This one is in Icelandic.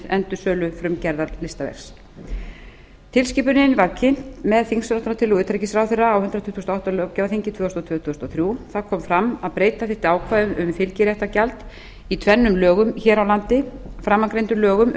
endursölu frumgerðar listaverks tilskipunin var kynnt með þingsályktunartillögu utanríkisráðherra á hundrað tuttugasta og áttunda löggjafarþingi tvö þúsund og tvö til tvö þúsund og þrjú þar kom fram að breyta þyrfti ákvæðum um fylgiréttargjald í tvennum lögum hér á landi framangreindum lögum